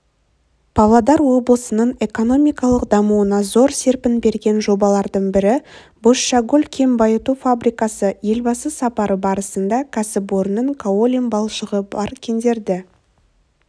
павлодар облысының экономикалық дамуына зор серпін берген жобалардың бірі бозшакөл кен байыту фабрикасы елбасы сапары барысында кәсіпорынның каолин балшығы бар кендерді